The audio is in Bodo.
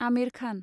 आमिर खान